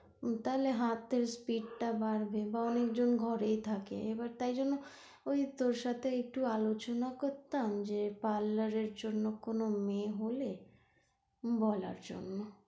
তাহলে হাতের speed টা বাড়বে বা অনেকজন ঘরেই থাকে এবার তাই জন্য ওই তোর সাথে একটু আলোচনা করতাম যে parlour এর জন্য কোনো মেয়ে হলে বলার জন্য।